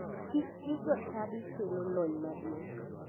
Tich gi jochadi kelo lony madung'.